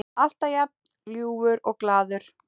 Alltaf jafn ljúfur og glaður.